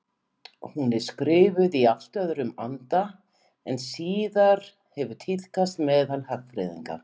Hún er skrifuð í allt öðrum anda en síðar hefur tíðkast meðal hagfræðinga.